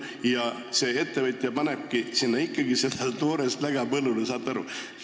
Ja ettevõtja paneb sinna ikkagi toorest läga põllule, saate aru!